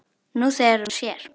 Nú þegar hún sér.